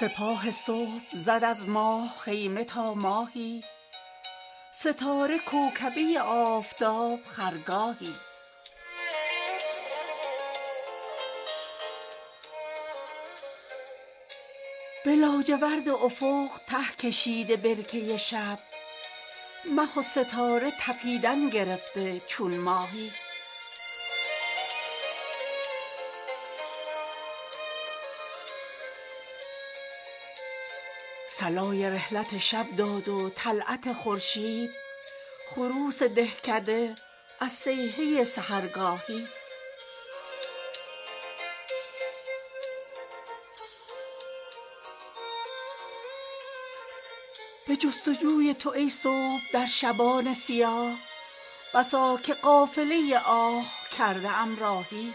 سپاه صبح زد از ماه خیمه تا ماهی ستاره کوکبه آفتاب خرگاهی به لاجورد افق ته کشیده برکه شب مه و ستاره تپیدن گرفته چون ماهی صلای رحلت شب داد و طلعت خورشید خروس دهکده از صیحه سحرگاهی به جستجوی تو ای صبح در شبان سیاه بسا که قافله آه کرده ام راهی خدیو خرگهی بر خیمه گو بزن بیرون چو مهر تکیه به شمشیر و مغفر شاهی عجب مدار به شمشیر او غبار قرون چرا که آینه عاشقان بود آهی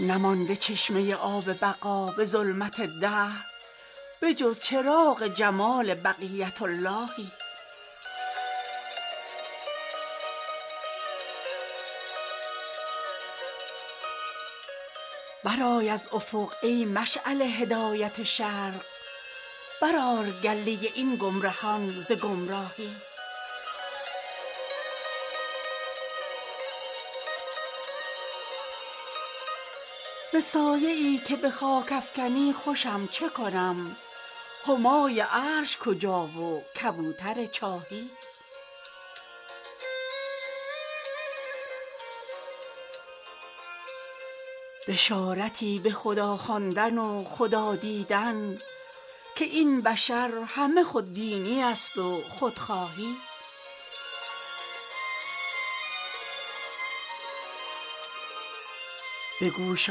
نمانده چشمه آب بقا به ظلمت دهر به جز چراغ جمال بقیت اللهی برآی از افق ای مشعل هدایت شرق برآر گله این گمرهان ز گمراهی ز سایه ای که به خاک افکنی خوشم چه کنم همای عرش کجا و کبوتر چاهی ملک به سجده آدم به کلک مژگان زد بر آستان تو توقیع آسمان جاهی خوشم که نقل حدیثت فتاده در افواه بسا که نص حدیث است نقل افواهی بشارتی به خدا خواندن و خدا دیدن که این بشر همه خودبینی است و خودخواهی دلی که آینه گردان شاهد غیبی ست چه عیب داردش از سر غیب آگاهی به گوش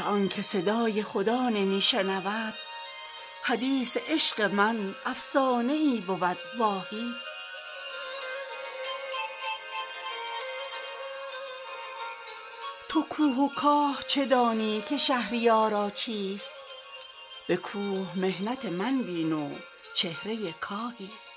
آنکه صدای خدا نمی شنود حدیث عشق من افسانه ای بود واهی تو کوه و کاه چه دانی که شهریارا چیست به کوه محنت من بین و چهره کاهی